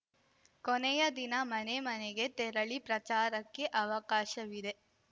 ಕೊನೆಯ ದಿನ ಮನೆ ಮನೆಗೆ ತೆರಳಿ ಪ್ರಚಾರಕ್ಕೆ ಅವಕಾಶವಿದೆ